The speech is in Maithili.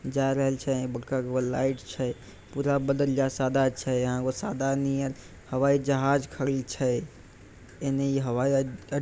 जाय रहल छै बड़का गो के लाइट छै पुरा बदल जा सादा छै यहां एगो सादा नियर हवाई जहाज खड़ी छै एने हवाई अड्डा --